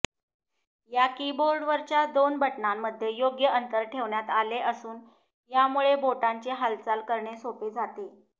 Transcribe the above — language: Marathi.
या कीबोर्डवरच्या दोन बटणांमध्ये योग्य अंतर ठेवण्यात आले असून यामुळे बोटांची हालचाल करणे सोपे जाते